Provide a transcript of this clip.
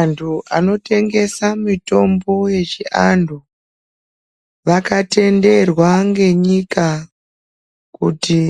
Antu anotengesa mitombo yechi antu, vakatenderwa ngenyika kuti